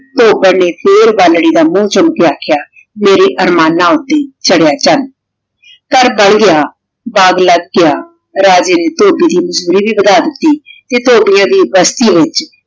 ਧੋਬਨ ਨੇ ਫੇਰ ਬਲ੍ਰੀ ਦਾ ਮੁਹ ਚੂਮ ਕੇ ਅਖ੍ਯਾ ਮੇਰੇ ਅਰਮਾਨ ਦੀ ਚਾਰ੍ਹ੍ਯਾ ਚਾਨ ਘਰ ਬਣ ਗਯਾ ਬਾਘ ਲਾਗ ਗਯਾ ਰਾਜੇ ਨੇ ਧੋਬੀ ਦੀ ਜ਼ਿੰਦਗੀ ਬਣਾ ਦਿਤੀ ਤੇ ਧੋਬਿਯਾਂ ਦੀ ਬਸਤੀ ਵਿਚ